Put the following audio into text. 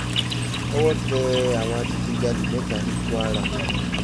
owó tẹ àwọn adigunjalè mẹ́ta ní kwara